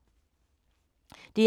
DR1